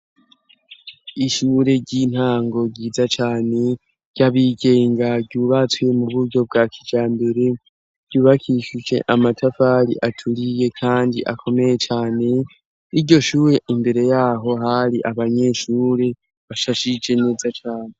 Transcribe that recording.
Ishure ry'intango ryiza cane ryabigenga ryubatswe mu buryo bwa kija mbere ryubakishuje amatafari aturiye, kandi akomeye cane iryo shuye imbere yaho hari abanyeshure bashashije neza cane.